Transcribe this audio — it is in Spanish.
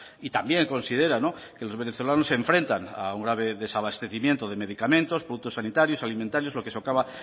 y también considera que los venezolanos se enfrentan a un desabastecimiento de medicamentos productos sanitarios alimentarios lo que socava